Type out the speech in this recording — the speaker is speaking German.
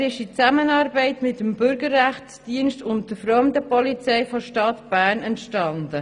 Er ist in Zusammenarbeit mit dem Bürgerrechtsdienst und der Fremdenpolizei der Stadt Bern entstanden.